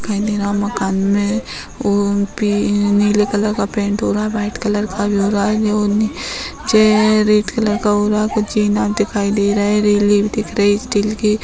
दिखाई दे रहा है मकान में ओ पी नीले कलर का पैंट हो रहा है वाइट कलर का भी हो रहा है ये उ नीचे रेड कलर हो रहा है कुछ चैना दिखाई दे रहे है रेलिंग भी दिख रही है स्टील की।